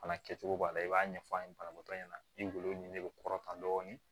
Fana kɛcogo b'a la i b'a ɲɛfɔ an ye banabagatɔ ɲɛna i kungolo ɲini ne bɛ kɔrɔtɔtan dɔɔni